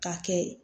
K'a kɛ